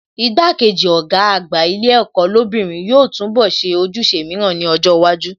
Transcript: Igbá-kejì Ọ̀gá àgbà ilé ẹ̀kọ́ lóbìnrin yóò túnbọ̀ ṣe ojúṣe mìíràn ní ọjọ́ iwájú